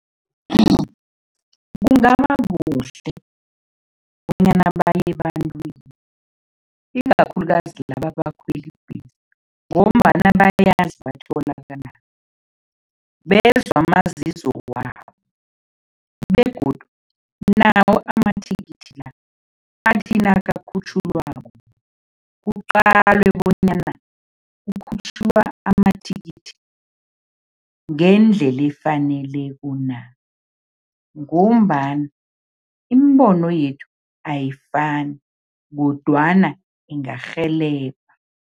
Kungaba kuhle bonyana baye ebantwini, ikakhulukazi laba abakhwela ibhesi ngombana bayazi batholakalaphi, bezwe amazizo wabo begodu nawo amathikithi la, athi nakakhutjhulwako, kuqalwe bonyana kukhutjhulwa amathikithi ngendlela efaneleko na ngombana iimbono yethu ayifani kodwana ingarhelebha.